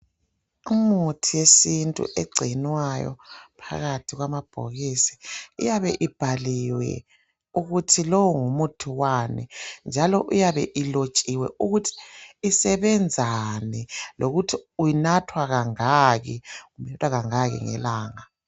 Umuthi yesintu egcinwayo phakathi kwamabhokisi iyabe ibhaliwe ukuthi lo ngumuthi wani njalo iyabe ilotshiwe ukuthi isebenzani lokuthi uyinathwa kangaki inathwa kangaki ngelanga.